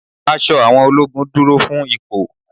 Aṣọ àwọn ológun dúró fún ipò.